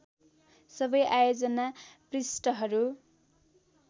सबै आयोजना पृष्ठहरू